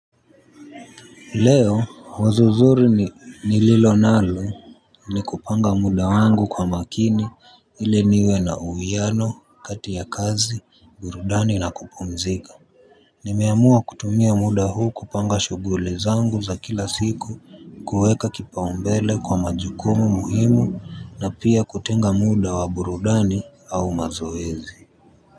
Leo wazo zuri nililo nalo, ni kupanga muda wangu kwa makini ile niwe na uwiano kati ya kazi burudani na kupumzika. Nimeamua kutumia muda huu kupanga shughuli zangu za kila siku kuweka kipaumbele kwa majukumu muhimu na pia kutenga muda wa burudani au mazoezi. Kwa hivyo,